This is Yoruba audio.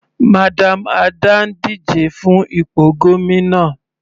Madam Ada ń díje fún ipò gómìnà.